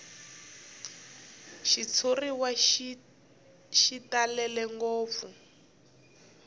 xitshuriwa xi talele ngopfu